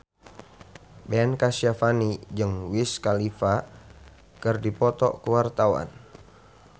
Ben Kasyafani jeung Wiz Khalifa keur dipoto ku wartawan